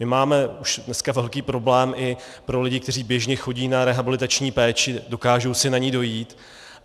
My máme už dneska velký problém i pro lidi, kteří běžně chodí na rehabilitační péči, dokážou si na ni dojít.